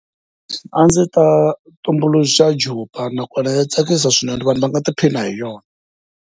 A ndzi ta tumbuluxa jupa nakona ya tsakisa swinene vanhu va nga tiphina hi yona.